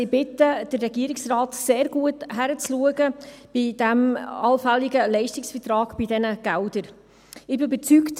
Ich bitte also den Regierungsrat, bei diesem allfälligen Leistungsvertrag bei diesen Geldern sehr gut hinzuschauen.